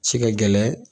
Ci ka gɛlɛn